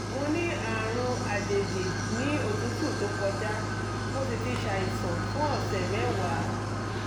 mo ní àrùn àjèjì ní òtútù tó kọjá mo sì ti ṣàìsàn fún ọ̀sẹ̀ mẹ́wàá